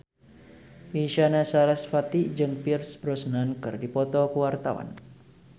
Isyana Sarasvati jeung Pierce Brosnan keur dipoto ku wartawan